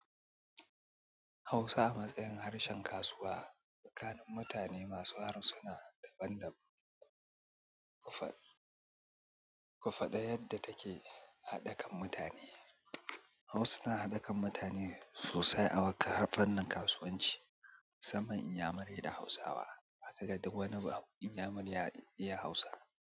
Hausa a matsayin harshen kasuwa tsakanin mutane masu harsuna daban-daban. Ku faɗi yadda take haɗa kan mutane. Hausa ta haɗe kan mutane sosai a fannin kasuwanci. Zaman Inyamurai da Hausawa. Zaka ga duk wani Inyamurai ya iya Hausa.